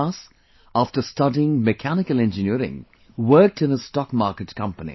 Jonas, after studying Mechanical Engineering worked in his stock market company